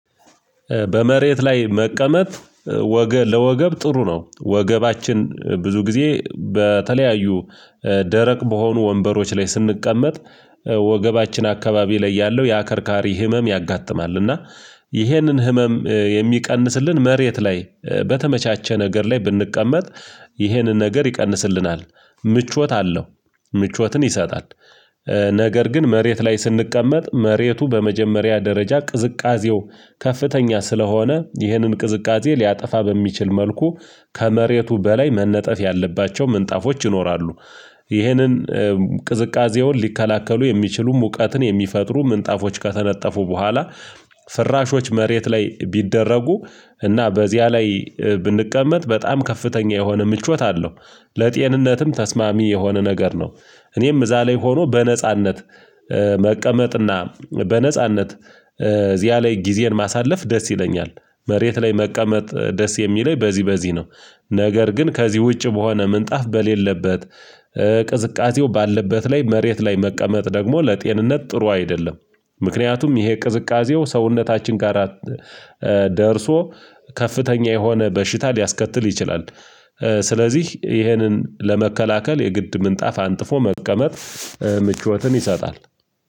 በመሬት ላይ መቀመጥ ለወገብ ጥሩ ነው። ወገባችን ብዙ ጊዜ በተለያዩ ደረቅ በሆኑ ወንበሮች ላይ ስንቀመጥ ወገባችን አካባቢ ላይ ያለው ያከርካሪ ህመም ያጋጥማል። እና ይህንን ህመም የሚቀንስልን መሬት ላይ በተመቻቸ ነገር ላይ ብንቀመጥ ይሄንን ነገር ይቀንስልናል ምቾት አለው ምቾትን ይሰጣል። ነገር ግን መሬት ላይ ስንቀመጥ መሬቱ በመጀመሪያ ደረጃ ቅዝቃዜው ከፍተኛ ስለሆነ ይህንን ቅዝቃዜ ሊያጠፋ በሚችል መልኩ ከመሬቱ በላይ መነጠፍ ያለባቸው ምንጣፎች ይኖራሉ። ይህንን ቅዝቃዜውን ሊከላከሉ የሚችሉ ሙቀትን የሚፈጥሩ ምንጣፎች ከተነጠፉ በኋላ ፍራሾች መሬት ላይ ቢደረጉ እና በዚያ ላይ ብንቀመጥ በጣም ከፍተኛ የሆነ ምቾት አለው ለጤንነትም ተስማሚ የሆነ ነገር ነው። እኔም እዛ ላይ ሆኖ በነጻነት መቀመጥና በነጻነት እዚያ ላይ ጊዜን ማሳለፍ ደስ ይለኛል። መሬት ላይ መቀመጥ ደስ የሚለኝ በዚህ በዚህ ነው። ነገር ግን ከዚህ ውጪ በሆነ ምንጣፍ በሌለበት ቅዝቃዜው ባለበት ላይ መሬት ላይ መቀመጥ ደግሞ ለጤንነት ጥሩ አይደለም። ምክንያቱም ይሄ ቅዝቃዜው ሰውነታችን ጋራ ደርሶ ከፍተኛ የሆነ በሽታ ሊያስከትል ይችላል። ስለዚህ ይህንን ለመከላከል የግድ ምንጣፍ አንጥፎ መቀመጥ ምቾትን ይሰጣል።